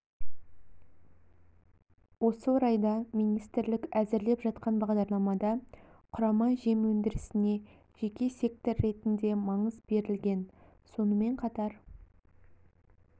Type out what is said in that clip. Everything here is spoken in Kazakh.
осы орайда министрлік әзірлеп жатқан бағдарламада құрама жем өндірісіне жеке сектор ретінде маңыз берілген сонымен қатар